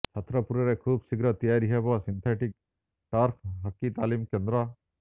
ଛତ୍ରପୁରରେ ଖୁବ୍ ଶୀଘ୍ର ତିଆରି ହେବ ସିନ୍ଥେଟିକ୍ ଟର୍ଫ ହକି ତାଲିମ କେନ୍ଦ୍ର